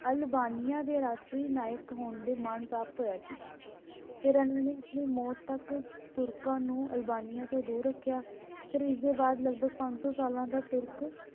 Albania ਦੇ ਰਾਸ਼ਟਰੀ ਨਾਇਕ ਹੋਣ ਦੇ ਮਾਨ ਪ੍ਰਾਪਤ ਹੋਇਆ ਸੀ ਫੇਰ ਇਹਨਾਂ ਨੂੰ ਮੌਤ ਤਕ ਤੁਰਕਾਂ ਨੂੰ ਅਲਬਾਣੀਆਂ ਤੋਂ ਦੂਰ ਰੱਖਿਆ ਫੇਰ ਇਸ ਦੇ ਬਾਅਦ ਲਗਭਗ ਪੰਜ ਸੌ ਸਾਲਾਂ ਤਕ ਤੁਰਕਾਂ